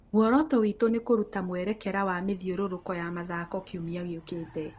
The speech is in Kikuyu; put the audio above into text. Muoroto witũ nĩ kũruta mwerekera wa mĩthiũrũrũko ya mĩthako kiumia gĩũkĩte